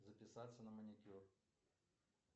записаться на маникюр